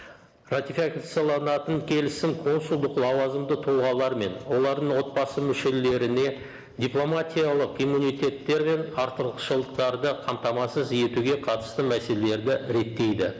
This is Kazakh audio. келісім консулдық лауазымды тұлғалар мен олардың отбасы мүшелеріне дипломатиялық иммунитеттер мен артықшылықтарды қамтамасыз етуге қатысты мәселелерді реттейді